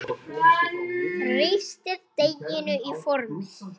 Þrýstið deiginu í formið.